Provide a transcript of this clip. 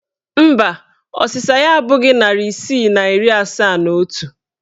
Mba, ọsịsa ya abụghị narị isii na iri asaa na otu